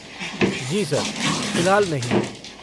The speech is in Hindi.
जी सर। फ़िलहाल नहीं।